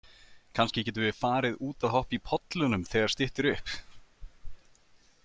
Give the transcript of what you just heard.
Kannski getum við farið út að hoppa í pollunum þegar styttir upp.